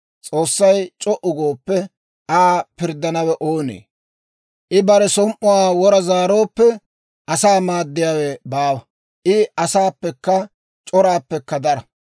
S'oossay c'o"u gooppe, Aa pirddanawe oonee? I bare som"uwaa wora zaarooppe, asaa maaddiyaawe baawa. I asaappekka c'oraappekka dara.